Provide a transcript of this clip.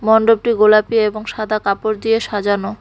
মণ্ডপটি গোলাপি এবং সাদা কাপড় দিয়ে সাজানো।